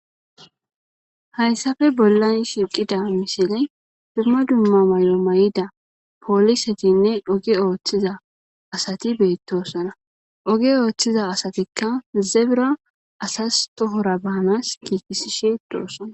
hayssafe bollan shiqida misile dumma dumma may7o may7ida poolisetinne oge ooththiza asati beettossana oge ooththiza asatikka zebira asas tohora baanas kiikisishe doossana